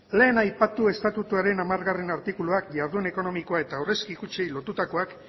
lehen aipatu estatuaren hamargarrena artikulua jardun ekonomikoa eta aurrezki kutxei lotutakoak